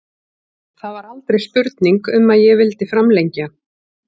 Það var aldrei spurning um að ég vildi framlengja.